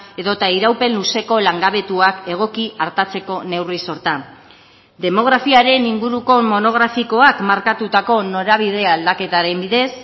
edota iraupen luzeko langabetuak egoki artatzeko neurri sorta demografiaren inguruko monografikoak markatutako norabide aldaketaren bidez